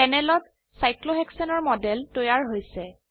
প্যানেলেত সাইক্লোহেক্সেনৰ মডেল তৈয়াৰ হৈছে